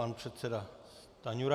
Pan předseda Stanjura.